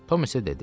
Tom isə dedi: